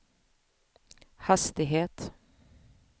hastighet